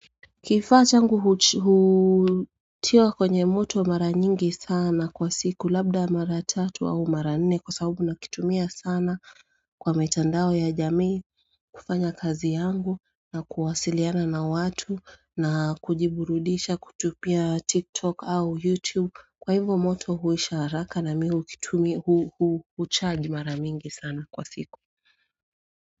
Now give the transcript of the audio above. Kifaa changu huchi hutiwa kwenye moto mara nyingi sana kwa siku labda mara tatu au mara nne kwa saabu nakitumia sana Kwa mitandao ya jamii kufanya kazi yangu na kuwasiliana na watu na kujiburudisha kutupia tiktok au youtube kwa hivo moto huisha haraka na mi hukitumia hu hu hucharge mara mingi sana kwa siku.